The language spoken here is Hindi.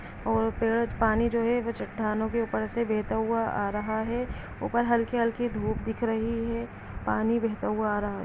और फिर पानी जो है वो चट्टानों के ऊपर से बेहता हुआ आ रहा है ऊपर हल्की हल्की धूप दिख रही है पानी बैहता हुआ आ रहा हैं।